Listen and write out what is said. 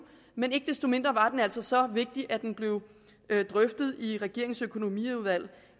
men ikke desto mindre var den altså så vigtig at den blev drøftet i regeringens økonomiudvalg